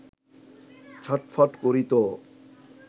ছটফট করি তো